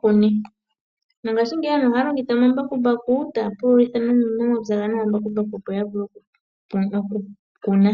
kune, no mo ngashi ngeyi aantu ohaa longitha omambakumbaku opo yavule okukuna.